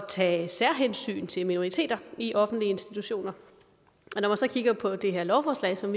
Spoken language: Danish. tage særhensyn til minoriteter i offentlige institutioner og så kigger på det her lovforslag som